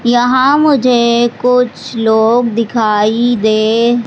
यहां मुझे कुछ लोग दिखाई दे --